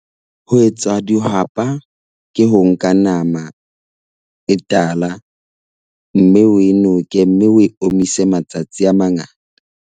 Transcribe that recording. Ho etsa dihwapa ke ho nka nama e tala mme o e noke mme o e omise matsatsi a mangata.